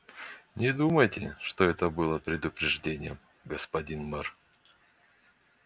не думайте что это было предупреждением господин мэр